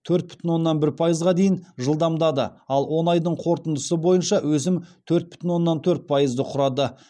төрт бүтін оннан бір пайызға дейін жылдамдады ал он айдың қорытындысы бойынша өсім төрт бүтін оннан төрт пайызды құрады